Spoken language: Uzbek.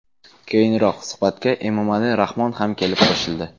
Keyinroq suhbatga Emomali Rahmon ham kelib qo‘shildi.